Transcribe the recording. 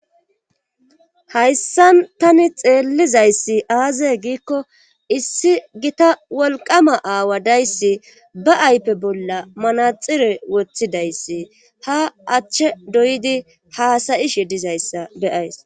hayssan tani xeellizayssi aaze giikko issi gita wolqama aawa dayssi ba aype bolla manaxire woththidayssi ha achche doydi haasayishe dizayssa beyays